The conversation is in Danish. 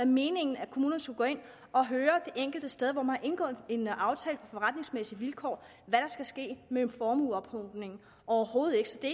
meningen at kommunerne skulle gå ind og høre det enkelte sted hvor man har indgået en aftale på forretningsmæssige vilkår hvad der skal ske med formueophobningen overhovedet ikke så det